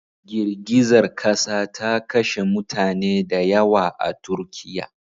Girgizar kasa ta kashe mutane da yawa a Turkiya.